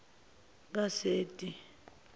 kaseti